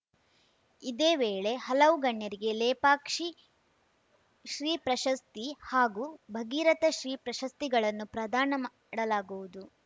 ಇದೇ ವೇಳೆ ಹಲವು ಗಣ್ಯರಿಗೆ ಲೇಪಾಕ್ಷಿ ಶ್ರೀ ಪ್ರಶಸ್ತಿ ಹಾಗೂ ಭಗೀರಥ ಶ್ರೀ ಪ್ರಶಸ್ತಿಗಳನ್ನು ಪ್ರದಾನ ಮಾಡಲಾಗುವುದು